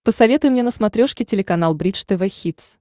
посоветуй мне на смотрешке телеканал бридж тв хитс